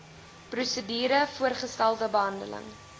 prosedure voorgestelde behandeling